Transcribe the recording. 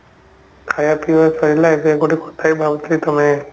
ଖାଇବା ପିଇବା ସରିଲା ଏବେ ଗୋଟେ କଥା ହିଁ ଭାବୁଥିଲି ତମେ